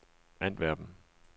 Antwerpen